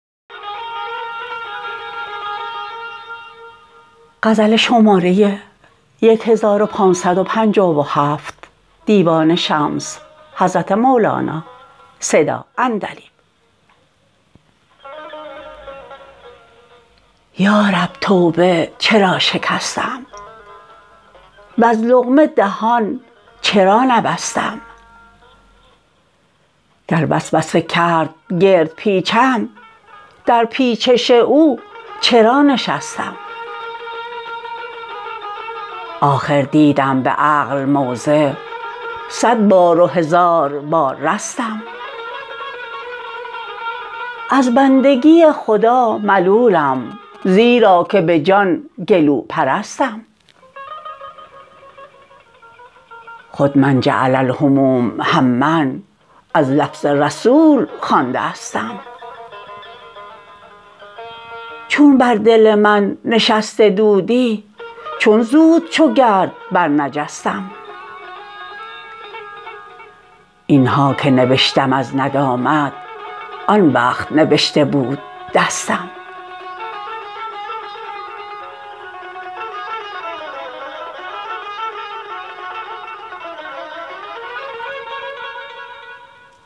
یا رب توبه چرا شکستم وز لقمه دهان چرا نبستم گر وسوسه کرد گرد پیچم در پیچش او چرا نشستم آخر دیدم به عقل موضع صد بار و هزار بار رستم از بندگی خدا ملولم زیرا که به جان گلوپرستم خود من جعل الهموم هما از لفظ رسول خوانده استم چون بر دل من نشسته دودی چون زود چو گرد برنجستم این ها که نبشتم از ندامت آن وقت نبشته بود دستم